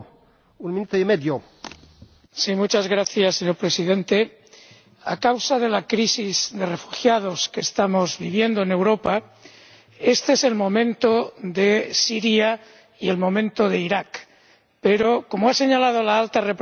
Señor Presidente, a causa de la crisis de refugiados que estamos viviendo en Europa, este es el momento de Siria y el momento de Irak, pero como ha señalado la Alta Representante, no podemos olvidar que hay dos crisis